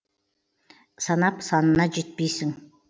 санап санына жетпейсің